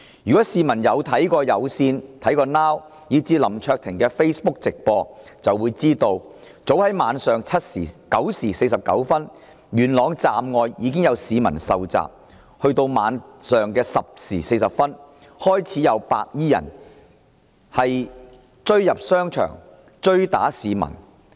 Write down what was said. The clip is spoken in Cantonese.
如果市民曾收看有線電視、Now TV， 以至林卓廷議員的 Facebook 直播，便會知道早於當日晚上9時49分，元朗站外已有市民遇襲，及至晚上10時40分便開始有白衣人闖入商場追打市民。